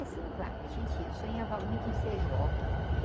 E assim vai, a gente, eu sonhava muito em ser jockey.